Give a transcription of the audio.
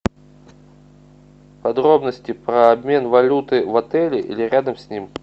подробности про обмен валюты в отеле или рядом с ним